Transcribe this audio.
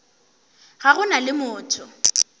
ga go na le motho